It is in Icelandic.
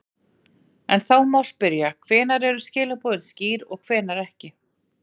En þá má spyrja, hvenær eru skilaboð skýr og hvenær ekki?